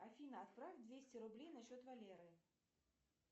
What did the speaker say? афина отправь двести рублей на счет валеры